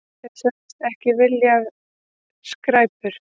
Þeir sögðust ekki vilja skræpur.